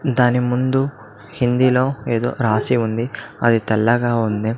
దాని ముందు హిందీ లో ఎదో రాసి ఉంది అది తెల్లగా ఉంది.